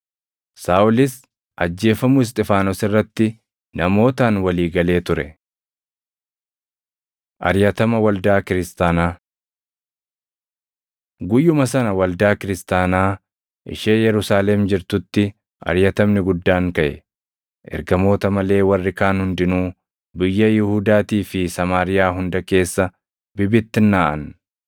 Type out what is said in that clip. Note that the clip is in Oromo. Saaʼolis ajjeefamuu Isxifaanos irratti namootaan walii galee ture. Ariʼatama Waldaa Kiristaanaa Guyyuma sana waldaa Kiristaanaa ishee Yerusaalem jirtutti ariʼatamni guddaan kaʼe; ergamoota malee warri kaan hundinuu biyya Yihuudaatii fi Samaariyaa hunda keessa bibittinnaaʼan.